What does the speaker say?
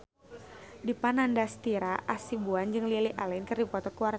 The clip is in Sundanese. Dipa Nandastyra Hasibuan jeung Lily Allen keur dipoto ku wartawan